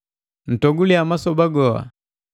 Ntogulia masoba goa,